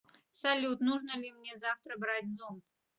салют нужно ли мне завтра брать зонт